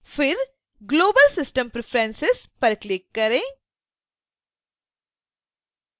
फिर global system preferences पर click करें